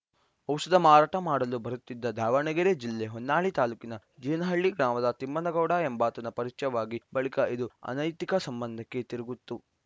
ಔಷಧ ಮಾರಾಟ ಮಾಡಲು ಬರುತ್ತಿದ್ದ ದಾವಣಗೆರೆ ಜಿಲ್ಲೆ ಹೊನ್ನಾಳಿ ತಾಲೂಕಿನ ಜೀನಹಳ್ಳಿ ಗ್ರಾಮದ ತಿಮ್ಮನಗೌಡ ಎಂಬಾತನ ಪರಿಚಯವಾಗಿ ಬಳಿಕ ಇದು ಅನೈತಿಕ ಸಂಬಂಧಕ್ಕೆ ತಿರುಗಿತ್ತು